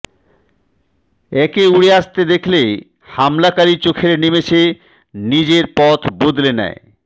একে উড়ে আসতে দেখলে হামলাকারি চোখের নিমেশে নিজের পথ বদলে নেয়